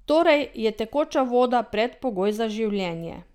Torej je tekoča voda predpogoj za življenje.